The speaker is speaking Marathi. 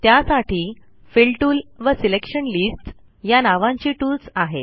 त्यासाठी फिल टूल व सिलेक्शन लिस्ट्स या नावांची टूल्स आहेत